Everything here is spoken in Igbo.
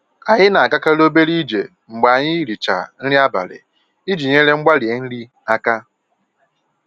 Anyị na-agakarị obere ije mgbe anyị richaa nri abalị iji nyere mgbari nri aka.